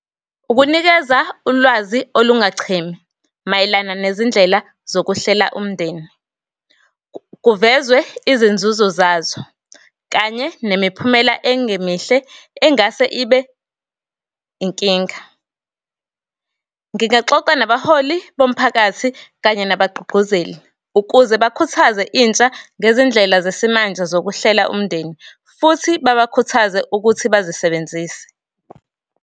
Ukunikeza ulwazi olungachimi, mayelana nezindlela zokuhlela umndeni, kuvezwe izinzuzo zazo, kanye nemiphumela engemihle engase ibe inkinga. Ngingaxoxa nabaholi bomphakathi kanye nabagqugquzeli, ukuze bakhuthaze intsha ngezindlela zesimanje zokuhlela umndeni, futhi babakhuthaze ukuthi bazisebenzise.